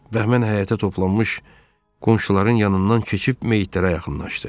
Və həmən həyətə toplanmış qonşuların yanından keçib meyidlərə yaxınlaşdı.